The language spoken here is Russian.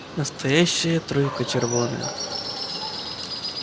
настоящая тройка червонная